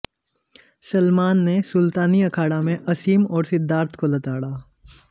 सलमान ने सुल्तानी अखाड़ा में असीम और सिद्धार्थ को लताड़ा